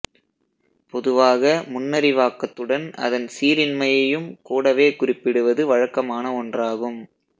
பொதுவாக முன்னறிவாக்கத்துடன் அதன் சீரின்மையையும் கூடவே குறிப்பிடுவது வழக்கமான ஒன்றாகும்